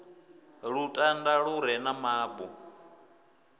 lutanda lu re na mabu